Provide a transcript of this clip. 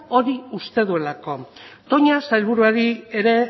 hori uste duelako toña sailburuari ere